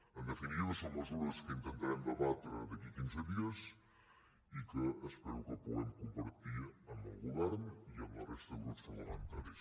en definitiva són mesures que intentarem debatre d’aquí a quinze dies i que espero que puguem compartir amb el govern i amb la resta de grups parlamentaris